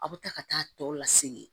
A bɛ taa ka taa tɔ lasegin